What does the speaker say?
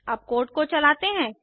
अब कोड को चलाते हैं